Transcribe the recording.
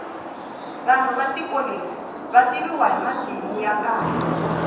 vanhu va tiko leri vativiwa hi matimu ya kahle